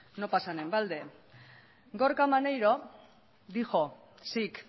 no pasan en balde gorka maneiro dijo sic